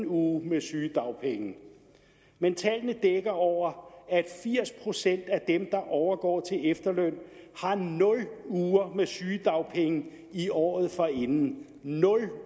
uge med sygedagpenge men tallene dækker over at firs procent af dem der overgår til efterløn har nul uger med sygedagpenge i året forinden nul